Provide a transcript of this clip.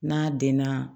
N'a denna